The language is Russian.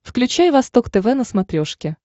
включай восток тв на смотрешке